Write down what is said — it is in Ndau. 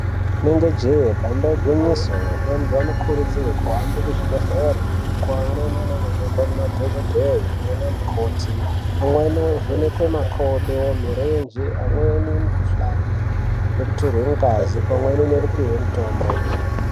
Inenge jee damba igwinyiso vantu vanokurudzirwa kuhambe kuzvibhedhleya kwavanonoenokwe nemadhokoteya nana mukoti amweni ovhenekwa makodo marenje amweni mikuhlani nekututsirwe ngazi.